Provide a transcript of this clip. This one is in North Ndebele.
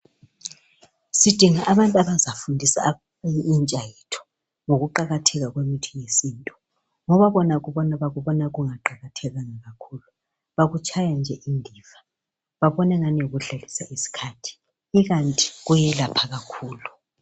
Sidinga abantu abazafundisa intsha yethu ngokuqakatheka kwemithi yesintu ngoba bona bakubona kungaqakathekanga kakhulu bakutshaya nje indiva. Babona angani yikudlalisa isikhathi, ikanti kuyelapha kakhulu.